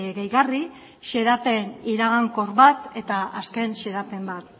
gehigarri xedapen iragankor bat eta azken xedapen bat